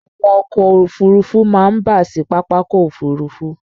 Àwọn ọkọ̀ Òfurufú máa ń bà sí Pápákọ̀ òfuurufú.